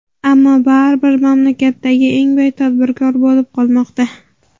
ammo baribir mamlakatdagi eng boy tadbirkor bo‘lib qolmoqda.